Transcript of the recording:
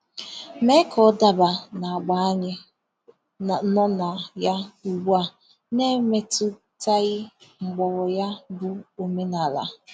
mee ka ọ dabaa n’agba a anyị nọ na ya ugbua na-emetụtaghi mgbọrọ ya bụ omenala.